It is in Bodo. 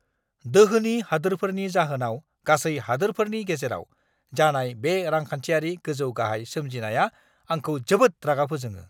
दोहोनि हादोरफोरनि जाहोनाव गासै हादोरफोरनि गेजेराव जानाय बे रांखान्थियारि गोजौ-गाहाय सोमजिनाया आंखौ जोबोद रागा फोजोङो!